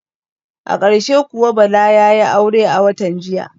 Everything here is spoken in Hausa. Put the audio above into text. A karshe kawu Bala yayi aure a watan jiya